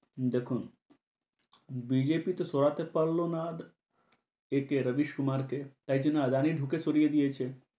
দেখুন, BJP তো সরাতে পারল না রবিস কুমারকে। তাই জন্যে আদানি ঢুকে সরিয়ে দিয়েছে।